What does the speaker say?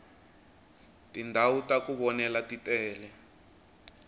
tindhawu taku vonela titele